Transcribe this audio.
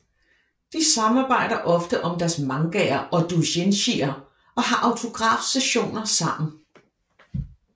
De samarbejder ofte om deres mangaer og doujinshier og har autografsessioner sammen